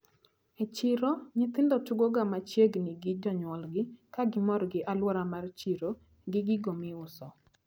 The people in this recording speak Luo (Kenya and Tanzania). E chiro nyithindo tugoga machiegni gi jonyuolgi kagimor gi aluora mar chiro gi gigo maiuso.